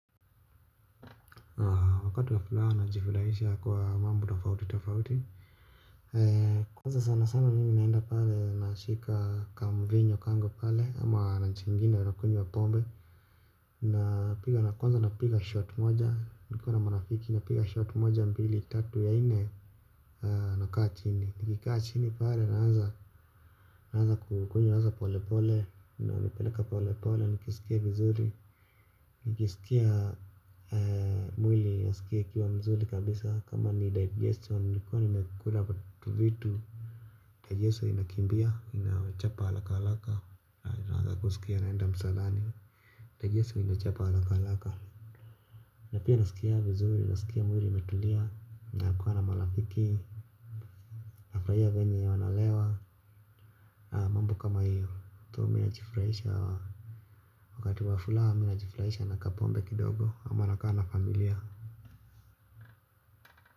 Wakati wa furaha najifurahisha kwa mambo tafauti tafauti kwanza sana sana mimi naenda pale nashika kamvinyo kangu pale ama na nachangina nakunywa pombe na kwanza napiga shot moja niko na marafiki napiga shot moja mbili tatu ya nne na kaa chini nikikaa chini pale naanza kukunywa sasa pole pole ina inapeleka pole pole nikisikia vizuri nikiskia mwili imeskia ikiwa mzuri kabisa kama ni digestion nilikuwa nimekula tuvitu digestion inakimbia ninachapa haraka naskia naenda kuenda msalani digestion inachapa haraka haraka. Na pia nasikia vizuri naskia mwili imetulia na kuwa na marafiki. Nafurahia venye ya wanalewa. Mambo kama hiyo tu mimi najifuraisha wakati wa wafuraha mimi najifurahisha na kapombe kidogo ama nakaa na familia.